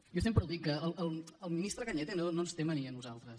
jo sempre ho dic el ministre cañete no ens té mania a nosaltres